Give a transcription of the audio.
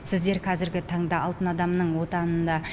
сіздер қазіргі таңда алтын адамның отанында